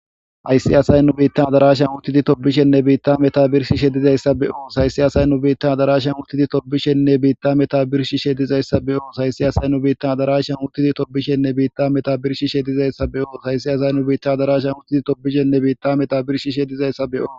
Hayssi asay nu biittan adarasha uttidi tobishenne biitta meta birshi shedizayssa beoos hayssi asay nu biitta adarasha uttidi tobishenne biitta meta birshi shedizayssa beoos hayssi asay nu biittan adarasha uttidi tobishenne biitta meta birshi shedizayssa beoos hayssi asay nu biitta adarasha uttidi tobishenne biitta meta birshi shedizayssa be7oo.